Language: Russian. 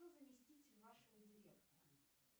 кто заместитель вашего директора